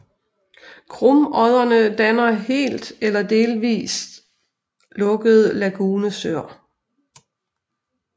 Krumodderne danner helt er delvist lukkede lagunesøer